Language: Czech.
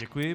Děkuji.